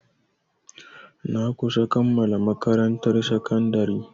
Na kusa kammala makarantar sakandari.